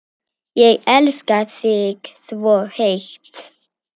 Ég elska þig svo heitt.